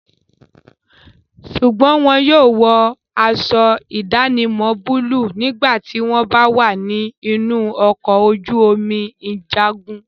Sùgbọ́n wọn yóò wọ aṣọ ìdánimọ̀ búlúù nígbà tí wọ́n bá wà ní inú ọkọ̀ ojú omi ìjagun.